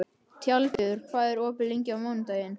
Tjaldur, hvað er opið lengi á mánudaginn?